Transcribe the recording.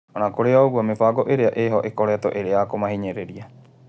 Ona kũrĩ o-ũguo, mĩbango ĩrĩa ĩho ĩkoretwo ĩyakũmahinyĩrĩria.